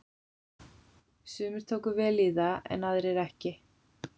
Sumir tóku vel í það en aðrir ekki.